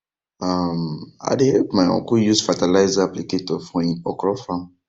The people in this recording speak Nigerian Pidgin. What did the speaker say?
um i dey help my uncle use fertilizer applicator for him him okra farm